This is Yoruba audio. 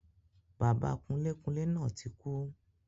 Bàbá kunlékunlé náà tí kú